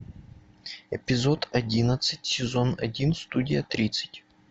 эпизод одиннадцать сезон один студия тридцать